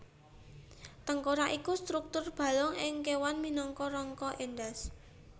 Tengkorak iku struktur balung ing kéwan minangka rangka endhas